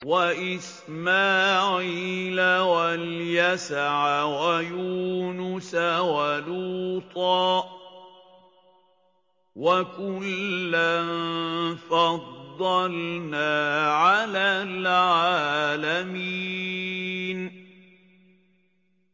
وَإِسْمَاعِيلَ وَالْيَسَعَ وَيُونُسَ وَلُوطًا ۚ وَكُلًّا فَضَّلْنَا عَلَى الْعَالَمِينَ